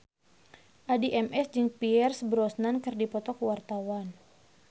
Addie MS jeung Pierce Brosnan keur dipoto ku wartawan